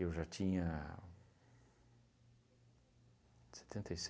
Eu já tinha... setenta e